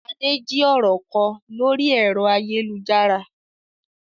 Adé jí ọ̀rọ̀ kọ lórí ẹ̀rọ ayélujára.